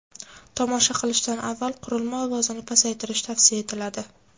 Tomosha qilishdan avval qurilma ovozini pasaytirish tavsiya etiladi.